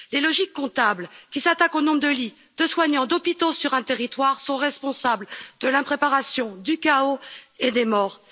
Les logiques comptables, qui s'attaquent au nombre de lits, de soignants, d'hôpitaux sur un territoire sont responsables de l'impréparation, du chaos et des morts.